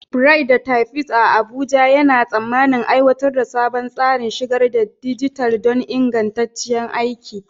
Bright, the Typist a Abuja, yana tsammanin aiwatar da sabon tsarin shigar da dijital don ingantaccen aiki.